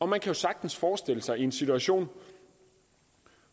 man kan sagtens forestille sig en situation